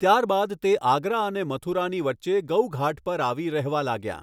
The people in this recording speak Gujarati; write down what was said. ત્યારબાદ તે આગરા અને મથુરાની વચ્ચે ગૌઘાટ પર આવી રહેવા લાગ્યાં.